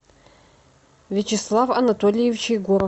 вячеслав анатольевич егоров